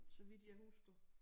Så vidt jeg husker